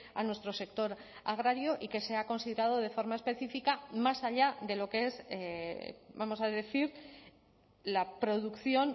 a nuestro sector agrario y que sea considerado de forma específica más allá de lo que es vamos a decir la producción